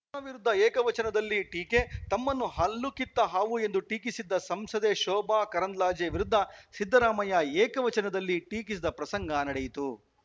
ಭಾ ವಿರುದ್ಧ ಏಕವಚನದಲ್ಲಿ ಟೀಕೆ ತಮ್ಮನ್ನು ಹಲ್ಲುಕಿತ್ತ ಹಾವು ಎಂದು ಟೀಕಿಸಿದ್ದ ಸಂಸದೆ ಶೋಭಾ ಕರಂದ್ಲಾಜೆ ವಿರುದ್ಧ ಸಿದ್ದರಾಮಯ್ಯ ಏಕವಚನದಲ್ಲಿ ಟೀಕಿಸಿದ ಪ್ರಸಂಗ ನಡೆಯಿತು